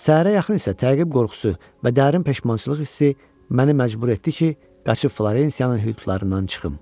Səhərə yaxın isə təqib qorxusu və dərin peşmançılıq hissi məni məcbur etdi ki, qaçıb Florensiyanın hüdudlarından çıxım.